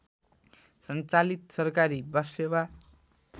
सञ्चालित सरकारी बससेवा